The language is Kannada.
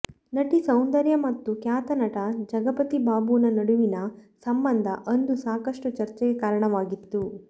ನಟಿ ಸೌಂದರ್ಯ ಮತ್ತು ಖ್ಯಾತ ನಟ ಜಗಪತಿ ಬಾಬುನ ನಡುವಿನ ಸಂಬಂಧ ಅಂದು ಸಾಕಷ್ಟು ಚರ್ಚೆಗೆ ಕಾರಣವಾಗಿತ್ತು